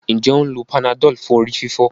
Njé o ń ló Panadol fún orí-fífọ́?